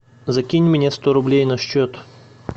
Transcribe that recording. закинь мне сто рублей на счет